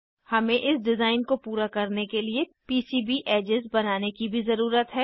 हमें इस डिज़ाइन को पूरा करने के लिए पीसीबी एजेस बनाने की भी ज़रुरत है